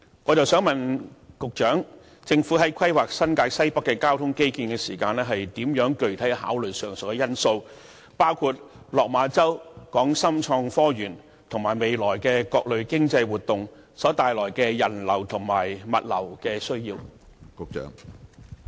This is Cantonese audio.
我想問局長，政府在規劃新界西北的交通基建時，如何具體考慮上述因素，包括落馬洲、港深創新及科技園及未來的各類經濟活動所衍生的人流和物流需要？